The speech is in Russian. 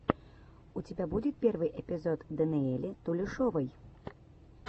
у тебя будет первый эпизод данелии тулешовой